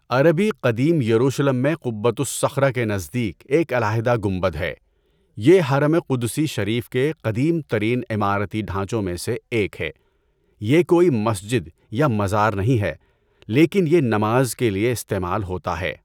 عربی قدیم یروشلم میں قبۃ الصخرۃ کے نزدیک ایک علاحدہ گنبد ہے۔ یہ حرم قدسی شریف کے قدیم ترین عمارتی ڈھانچوں میں سے ایک ہے۔ یہ کوئی مسجد یا مزار نہیں ہے لیکن یہ نماز کے لیے استعمال ہوتا ہے۔